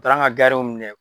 U taara an ka garirw minɛ.